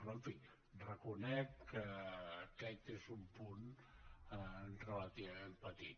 però en fi reconec que aquest és un punt relativament petit